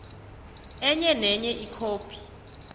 enye nenye ikhophi